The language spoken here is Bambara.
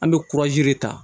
An bɛ ta